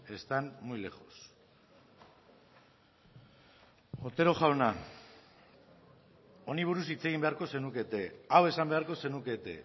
están muy lejos otero jauna honi buruz hitz egin beharko zenukete hau esan beharko zenukete